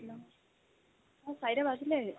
অহ্ চাৰিটা বাজিলে